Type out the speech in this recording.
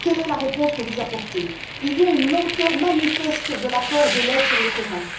Quelle est la réponse que vous apportez? Il y a une lenteur manifeste dans l'apport de l'aide sur le terrain.